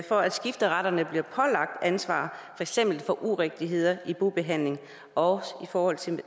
for at skifteretterne bliver pålagt ansvar eksempel for urigtigheder i bobehandling og i forhold til